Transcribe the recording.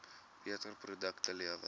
beter produkte lewer